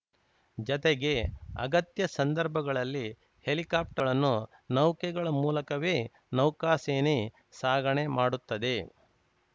ಜತೆಗೆ ಅಗತ್ಯ ಸಂದರ್ಭಗಳಲ್ಲಿ ಹೆಲಿಕಾಪ್ಟರ್‌ಳನ್ನು ನೌಕೆಗಳ ಮೂಲಕವೇ ನೌಕಾಸೇನೆ ಸಾಗಾಣೆ ಮಾಡುತ್ತದೆ